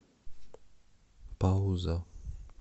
пауза